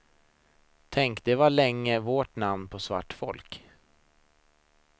Tänk, det var länge vårt namn på svart folk.